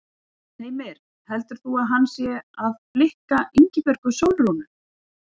Heimir: Heldur þú að hann sé að blikka Ingibjörgu Sólrúnu?